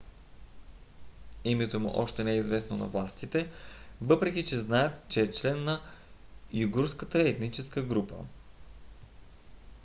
името му още не е известно на властите въпреки че знаят че е член на уйгурската етническа група